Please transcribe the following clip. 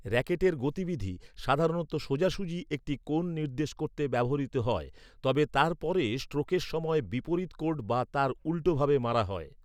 র‍্যাকেটের গতিবিধি সাধারণত সোজাসুজি একটি কোণ নির্দেশ করতে ব্যবহৃত হয়। তবে তারপরে স্ট্রোকের সময় বিপরীত কোর্ট বা তার উল্টো ভাবে মারা হয়।